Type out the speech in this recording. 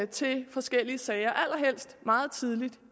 til forskellige sager allerhelst meget tidligt